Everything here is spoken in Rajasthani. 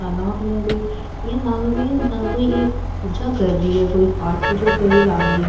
तालाब में कोई इया लाग रो है जहा कोई पूजा कर रही है कोई जो पाठ पूजा कर रही है लाग री है।